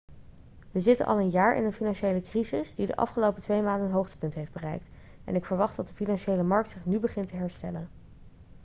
we zitten al een jaar in een financiële crisis die de afgelopen twee maanden een hoogtepunt heeft bereikt en ik verwacht dat de financiële markt zich nu begint te herstellen.'